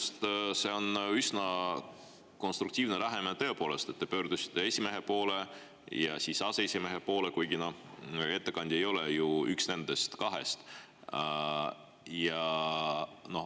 Iseenesest on see üsna konstruktiivne lähenemine, tõepoolest, et te pöördusite esimehe ja aseesimehe poole, kuigi ettekandja ei ole ju üks nendest kahest.